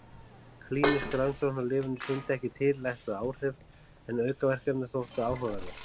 Klínísk rannsókn á lyfinu sýndi ekki tilætluð áhrif en aukaverkanirnar þóttu áhugaverðar.